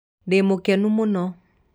Ndĩmũkenu mũno